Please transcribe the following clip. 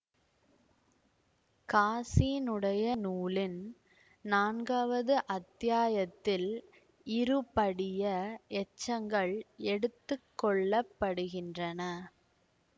காஸினுடைய நூலின் நான்காவது அத்தியாயத்தில் இருபடிய எச்சங்கள் எடுத்துக்கொள்ளப்படுகின்றன